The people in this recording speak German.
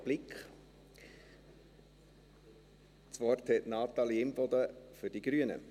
Das Wort hat Natalie Imboden für die Grünen.